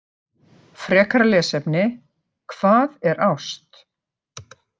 Frekara lesefni: Hvað er ást?